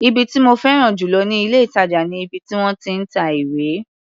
Ibi tí mo féràn jù lọ ní ilé-ìtàjà ni ibi tí wọ́n ti ń ta ìwé.